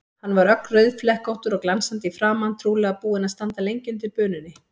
Hann var ögn rauðflekkóttur og glansandi í framan, trúlega búinn að standa lengi undir bununni.